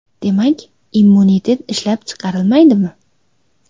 Demak, immunitet ishlab chiqarilmaydimi?